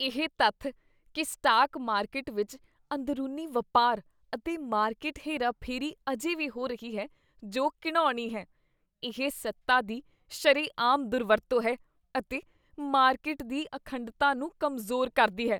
ਇਹ ਤੱਥ ਕੀ ਸਟਾਕ ਮਾਰਕੀਟ ਵਿੱਚ ਅੰਦਰੂਨੀ ਵਪਾਰ ਅਤੇ ਮਾਰਕੀਟ ਹੇਰਾਫੇਰੀ ਅਜੇ ਵੀ ਹੋ ਰਹੀ ਹੈ ਜੋ ਘਿਣਾਉਣੀ ਹੈ। ਇਹ ਸੱਤਾ ਦੀ ਸ਼ਰੇਆਮ ਦੁਰਵਰਤੋਂ ਹੈ ਅਤੇ ਮਾਰਕੀਟ ਦੀ ਅਖੰਡਤਾ ਨੂੰ ਕਮਜ਼ੋਰ ਕਰਦੀ ਹੈ।